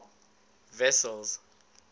wessels